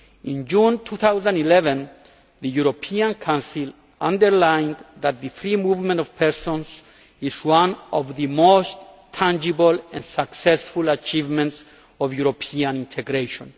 In June 2011 the European Council underlined that the free movement of persons is one of the most tangible and successful achievements of European integration.